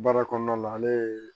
Baara kɔnɔna la ale ye